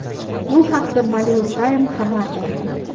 Bu haqda Bollywoodtime xabar berdi .